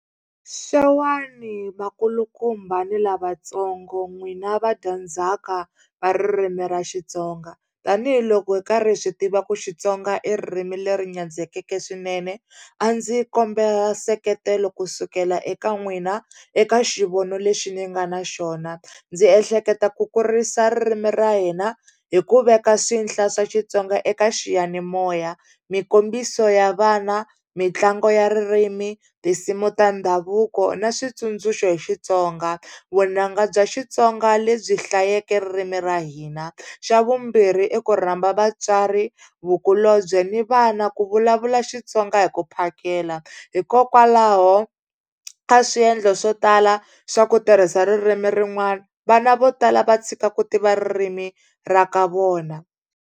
Xewani vakulukumba ni lavatsongo n'wina vadyandzhaka va ririmi ra Xitsonga. Tanihiloko hi karhi swi tiva ku Xitsonga i ririmi leri nyandzekeke swinene a ndzi kombela nseketelo kusukela eka n'wina eka xivono lexi ni nga na xona. Ndzi ehleketa ku kurisa ririmi ra hina hi ku veka swinhla swa Xitsonga eka xiyanimoya, mikombiso ya vana, mitlangu ya ririmi, tinsimu ta ndhavuko na switsundzuxo hi Xitsonga, vunanga bya Xitsonga lebyi hlayeke ririmi ra hina. Xa vumbirhi i ku rhamba vatswari, vukulobye ni vana ku vulavula Xitsonga hi ku phakela. Hikokwalaho ka swiendlo swo tala swa ku tirhisa ririmi rin'wana vana vo tala va tshika ku tiva ririmi ra ka vona.